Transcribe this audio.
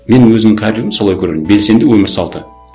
мен өзімнің кәрілігім солай көремін белсенді өмір салты